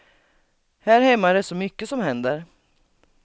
Här hemma är det så mycket som händer.